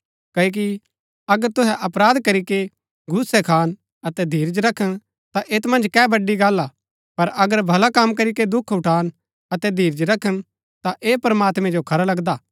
क्ओकि अगर तुहै अपराध करीके घूसै खान अतै धीरज रखन ता ऐत मन्ज कै बड़ी गल्ल हा पर अगर भला कम करीके दुख उठान अतै धीरज रखन ता ऐह प्रमात्मैं जो खरा लगदा हा